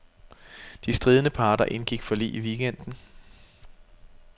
De stridende parter indgik forlig i weekenden.